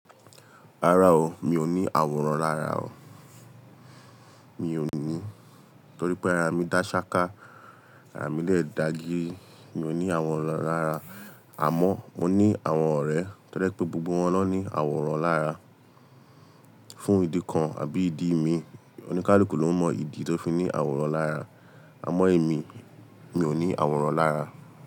Rárá o, mi ò ní àwòrán lára o. Mi ò ní, torí pé ara mi dá ṣááká, ara mi dẹ̀ dá gírí. Mi ò ní àwòrán lára, àmọ́ mo ní àwọn ọ̀rẹ́ tí ó jẹ́ pé gbogbo wọn ló ní àwòrán lára. Fún ìdí kan àbí ìdí mí ì, oníkálùkù ló mọ ìdí tí ó fi ní àwòrán lára. Àmọ́ èmi, mi ò ní àwòrán lára.